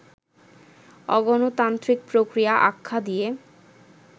অগণতান্ত্রিক প্রক্রিয়া আখ্যা দিয়ে